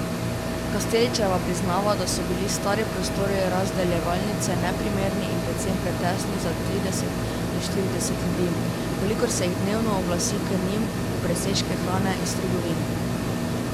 Kasteličeva priznava, da so bili stari prostori razdeljevalnice neprimerni in predvsem pretesni za trideset do štirideset ljudi, kolikor se jih dnevno oglasi k njim po presežke hrane iz trgovin.